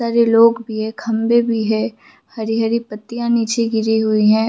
बहोत सारे लोग भी हैखम्बे भी है हरी-हरी पत्तिया निचे गिरी हुई है।